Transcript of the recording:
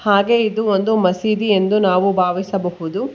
ಹಾಗೆ ಇದು ಒಂದು ಮಸೀದಿ ಎಂದು ನಾವು ಭಾವಿಸಬಹುದು.